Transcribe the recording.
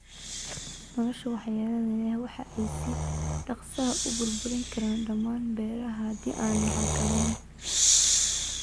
Noolaha waxyeellada leh waxay si dhakhso ah u burburin karaan dhammaan beeraha haddii aan la xakamayn.